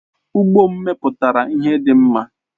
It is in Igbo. Ụgbo m mepụtara ihe dị mma